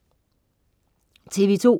TV2: